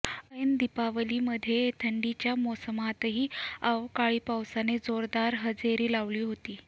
ऐन दीपावलीमध्येही थंडीच्या मोसमातही अवकाळी पावसाने जोदार हजेरी लावली होती